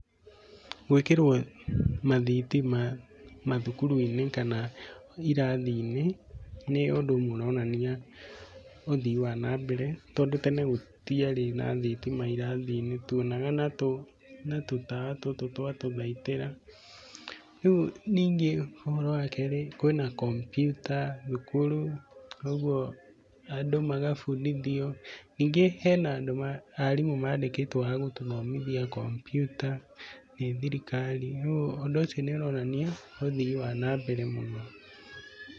Gwĩkĩrwo mathitima mathukuru-inĩ kana irathi-inĩ, nĩ ũndũ ũronania ũthii wa na mbere, tondũ tene gũtiarĩ na thitima irathi-inĩ tuonaga na tũtawa tũtũ twa tũthaitĩra. Rĩu ningĩ ũhoro wa kerĩ kwĩna kompiuta thukuru koguo andũ magabundithio. Ningĩ hena andũ, arimũ mandĩkĩtwo a gũtũthomithia kompiuta nĩ thirikari, rĩu ũndũ ũcio nĩ ũronania ũthii wa na mbere mũno.